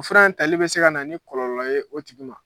O fura in tali bɛ se ka na ni kɔlɔlɔ ye o tigi ma.